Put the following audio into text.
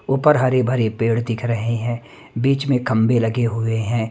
ऊपर हरे भरे पेड़ दिख रहे हैं बीच में खंबे लगे हुए हैं।